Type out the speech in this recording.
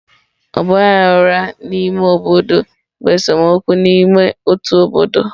Ọgba aghara n'ime obodo bụ esemokwu n'ime otu obodo.